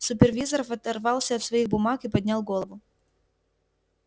супервизор оторвался от своих бумаг и поднял голову